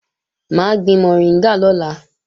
Mà á gbin mọ̀ríngà lọ́la